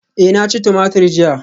Eh na ci tumatur jiya